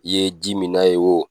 I ye ji min na ye oo.